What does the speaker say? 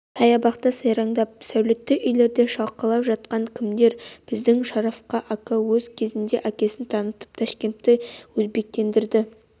сая бақта сайраңдап сәулетті үйлерде шалқалап жатқан кімдер біздің шараф ака өз кезінде әкесін танытып ташкентті өзбектендірді